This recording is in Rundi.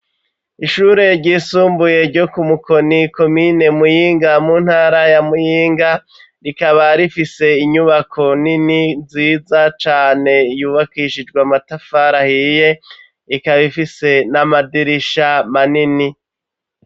Ishure ryisumbuye, ryo ku Mukoni, komine Muyinga, mu ntara ya Muyinga; rikaba rifise inyubako nini, nziza cane, yubakishijwe matafari ahiye, ikaba ifise, n'amadirisha manini.